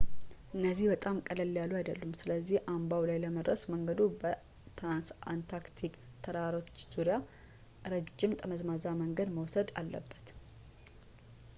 እነዚህ በጣም ቀለል ያሉ አይደሉም ፣ ስለዚህ አምባው ላይ ለመድረስ መንገዱ በትራንስአንታርክቲክ ተራሮች ዙሪያ ረጅም ጠመዝማዛ መንገድ መውሰድ አለበት